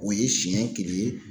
O ye siɲɛ kelen ye.